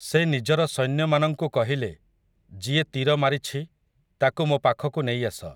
ସେ ନିଜର ସୈନ୍ୟମାନଙ୍କୁ କହିଲେ, ଯିଏ ତୀର ମାରିଛି, ତାକୁ ମୋ ପାଖକୁ ନେଇଆସ ।